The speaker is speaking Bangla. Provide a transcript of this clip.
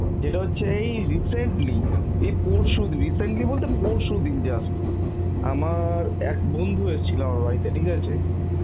যেটা হচ্ছে এই recently, এই পরশুদিন recently বলতে পরশুদিন just আমার এক বন্ধু এসছিল বাড়িতে, ঠিক আছে